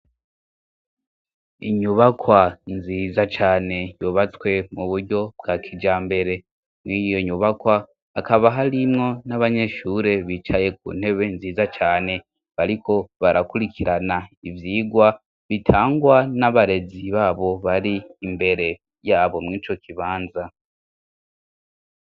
Inyubakwa nziza cane yubatswe mu buryo bwa kijambere. Mw'iyo nyubakwa, hakaba harimwo n'abanyeshure bicaye ku ntebe nziza cane. Bariko barakurikirana ivyigwa, bitangwa n'abarezi babo bari imbere yabo mw'ico kibanza.